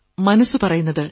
മനസ്സു പറയുന്നത്